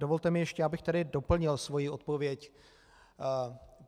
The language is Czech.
Dovolte mi ještě, abych tedy doplnil svoji odpověď.